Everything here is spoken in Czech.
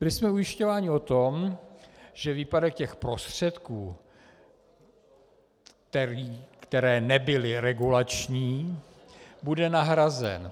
Byli jsme ujišťováni o tom, že výpadek těch prostředků, které nebyly regulační, bude nahrazen.